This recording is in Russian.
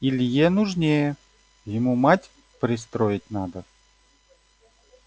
илье нужнее ему мать пристроить надо